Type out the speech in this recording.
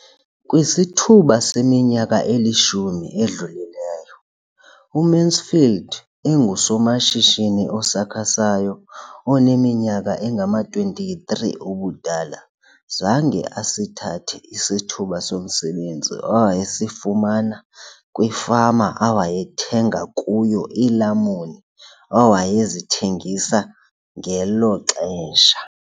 Kwisithuba seminyaka elishumi edlulileyo, uMansfield engusomashishini osakhasayo oneminyaka engama-23 ubudala, zange asithathe isithuba somsebenzi awayesifumana kwifama awayethenga kuyo iilamuni awayezithengisa ngelo xesha.